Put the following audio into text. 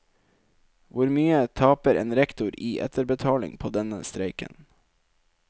Hvor mye taper en rektor i etterbetaling på denne streiken?